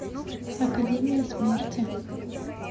академия смерти